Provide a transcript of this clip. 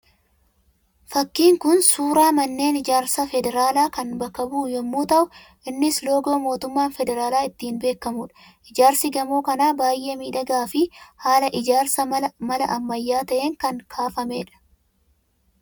Fakkiin kun suuraa manneen ijaarsa federaalaa kan bakka bu'u yemmuu ta'u, innis akka loogoo mootummaan federaalaa ittiin beekamuudha. Ijaarsi gamoo kanaa baayye miidhagaa fi haala ijaarsa mala ammayyaa ta'een kan kaafamedha.